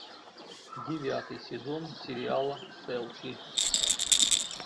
девятый сезон сериала селфи